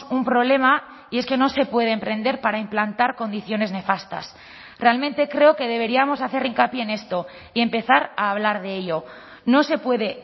un problema y es que no se puede emprender para implantar condiciones nefastas realmente creo que deberíamos hacer hincapié en esto y empezar a hablar de ello no se puede